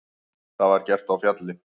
Það var gert á Fjalli.